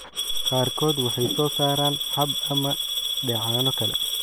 Qaarkood waxay soo saaraan xab ama dheecaano kale.